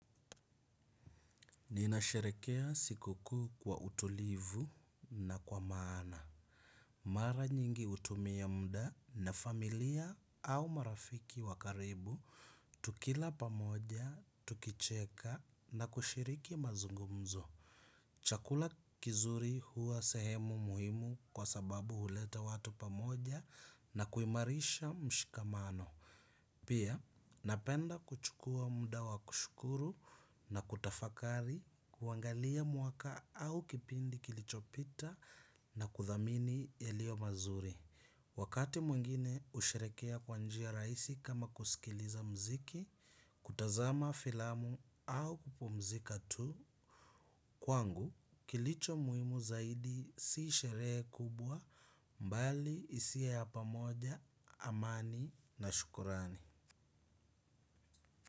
Ninasherekea siku kuu kwa utulivu na kwa maana. Mara nyingi hutumia muda na familia au marafiki wa karibu tukila pamoja, tukicheka na kushiriki mazungumzo. Chakula kizuri huwa sehemu muhimu kwa sababu huleta watu pamoja na kuimarisha mshikamano. Pia, napenda kuchukua muda wa kushukuru na kutafakari kuangalia mwaaka au kipindi kilichopita na kuthamini yaliyo mazuri. Wakati mwingine husherekea kwa njia rahisi kama kusikiliza mziki, kutazama filamu au kupumzika tu. Kwangu, kilicho muhimu zaidi si sherehe kubwa mbali hisia ya pamoja, amani na shukrani.